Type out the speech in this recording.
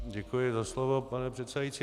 Děkuji za slovo, pane předsedající.